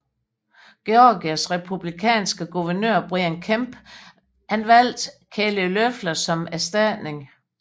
Georgias republikanske guvernør Brian Kemp valgte Kelly Loeffler som erstatning